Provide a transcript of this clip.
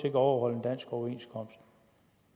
ikke overholde en dansk overenskomst